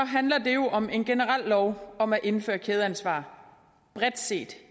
handler det jo om en generel lov om at indføre kædeansvar bredt set